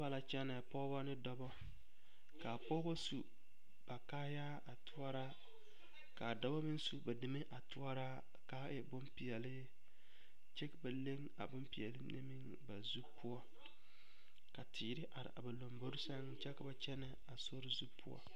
Noba la kyɛnɛ pɔgeba ne dɔbɔ ka a pɔgeba su ba kaaya a toɔra ka a dɔbɔ meŋ su ba deme a toɔraa ka a e bompeɛle kyɛ ba leŋ a bompeɛle mine meŋ ba zu poɔ ka teere are a ba lombori sɛŋ kyɛ ka ba kyɛnɛ a sori zu..